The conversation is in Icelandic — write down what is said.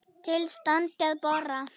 Til standi að bora.